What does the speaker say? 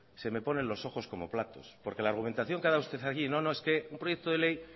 se me ponen los ojos como platos porque la argumentación que ha dado usted aquí no no es que un proyecto de ley